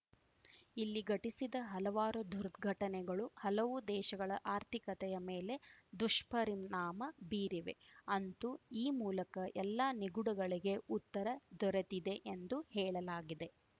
ಇಲ್ಲಿ ಘಟಿಸಿದ ಹಲವಾರು ದುರ್ಘಟನೆಗಳು ಹಲವು ದೇಶಗಳ ಆರ್ಥಿಕತೆಯ ಮೇಲೆ ದುಷ್ಪರಿಣಾಮ ಬೀರಿವೆ ಅಂತೂ ಈ ಮೂಲಕ ಎಲ್ಲಾ ನಿಗೂಢಗಳಿಗೆ ಉತ್ತರ ದೊರೆತಿದೆ ಎಂದು ಹೇಳಲಾಗಿದೆ